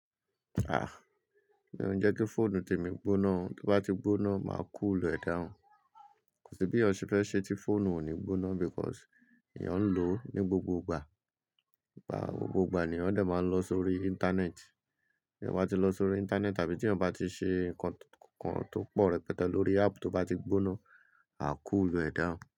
Ah! Mi o njẹ ki fóònù temi gbóná o, to bá ti gbóná máa cool e down. Kò sí bí èyan se fẹ́ ṣe tí fóònù ò ní gbóná because èèyàn ń lò ó ní gbogbo ìgbà. Gbogbo ìgbà lèyàn dè máa ń lọ sórí internet. Bí èèyàn bá ti lọ sórí internet tàbí tí èèyàn bá ti ṣe nǹkan tó pọ̀ rẹpẹtẹ lórí app tó bá ti gbóná, a cool e down.